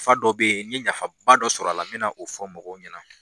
F'a dɔw be yen , n ye nafaba dɔ sɔrɔ a la , n be na o fɔ mɔgɔw ɲɛna.